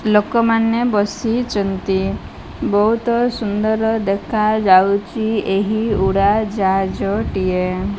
ଲୋକମାନେ ବସିଚନ୍ତି ବହୁତ ସୁନ୍ଦର ଦେଖାଯାଉଚି ଏହି ଉଡା ଜାହାଜ ଟିଏ।